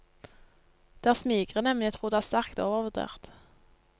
Det er smigrende, men jeg tror det er sterkt overvurdert.